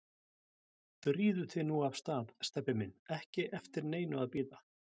Drífðu þig nú af stað, Stebbi minn, ekki eftir neinu að bíða